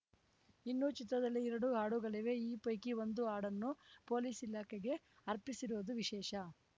ಇನ್ನೂ ಚಿತ್ರದಲ್ಲಿ ಎರಡು ಹಾಡುಗಳಿವೆ ಈ ಪೈಕಿ ಒಂದು ಹಾಡನ್ನು ಪೊಲೀಸ್‌ ಇಲಾಖೆಗೆ ಅರ್ಪಿಸಿರುವುದು ವಿಶೇಷ